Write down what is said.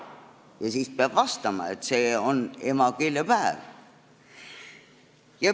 Ja siis peab vastama, et see on emakeelepäev.